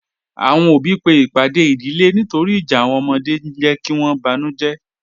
Awọn ọbí pe ipàdè ìdílẹ̀ nítòrì ìjà awọn ọmọdè n jẹ̀ kí wọn bánújẹ̀